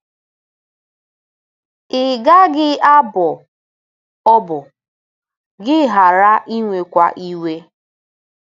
Ị gaghị abọ ọbọ, gị ghara inwekwa iwe.